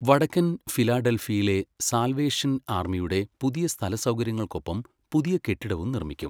വടക്കൻ ഫിലാഡൽഫിയയിലെ സാൽവേഷൻ ആർമിയുടെ പുതിയ സ്ഥലസൗകര്യങ്ങൾക്കൊപ്പം പുതിയ കെട്ടിടവും നിർമ്മിക്കും.